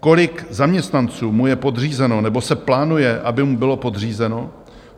Kolik zaměstnanců mu je podřízeno nebo se plánuje, aby mu bylo podřízeno?